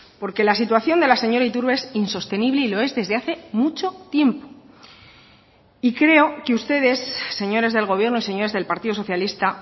porque la situación de la señora iturbe es insostenible y lo es desde hace mucho tiempo y creo que ustedes señores del gobierno señores del partido socialista